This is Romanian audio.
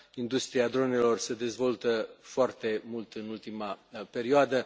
Industria dronelor se dezvoltă foarte mult în ultima perioadă.